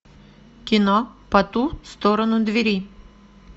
кино по ту сторону двери